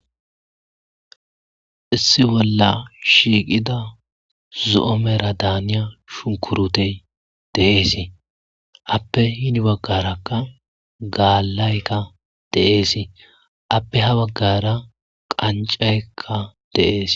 issi bolla shiiqida zo7omera daaniya shunkurutey deeesii appe hini baggarakka gaallaykka deeesii appe ha baggara qancaykka deees